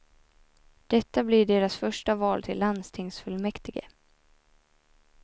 Detta blir deras första val till landstingsfullmäktige.